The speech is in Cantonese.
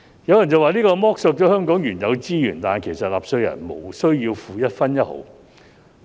有人說此舉會剝削香港原有的資源，但其實納稅人無須繳付一分一毫。